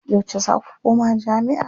Yauce za ku koma jami'a?